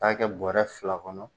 K'a taa kɛ bɔrɛ fila kɔnɔ.